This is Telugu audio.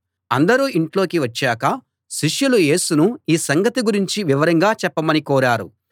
అందరూ ఇంట్లోకి వచ్చాక శిష్యులు యేసును ఈ సంగతి గురించి వివరంగా చెప్పమని కోరారు